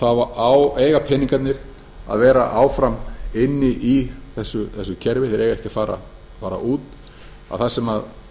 þá eiga peningarnir að vera áfram inni í þessu kerfi þeir eiga ekki að fara út og þar sem